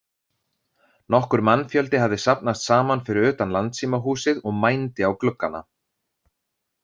Nokkur mannfjöldi hafði safnast saman fyrir utan Landssímahúsið og mændi á gluggana.